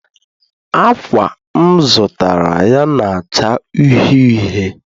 Ákwà m zụtara ya na-acha uhie uhie